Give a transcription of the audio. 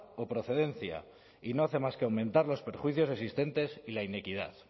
o procedencia y no hace más que aumentar los perjuicios existentes y la inequidad